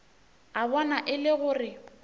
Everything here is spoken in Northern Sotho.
a bona e le gore